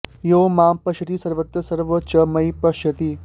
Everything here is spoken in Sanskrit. यो मां पश्यति सर्वत्र सर्वं च मयि पश्यति